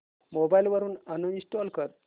mobile वरून uninstall कर